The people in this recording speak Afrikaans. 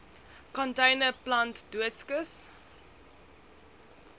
container plant doodskis